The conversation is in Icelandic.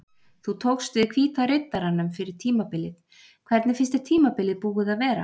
Þú tókst við Hvíta Riddaranum fyrir tímabilið hvernig finnst þér tímabilið búið að vera?